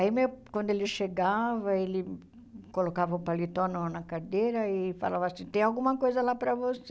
Aí, meu quando ele chegava, ele colocava o paletó no na cadeira e falava assim, tem alguma coisa lá para você.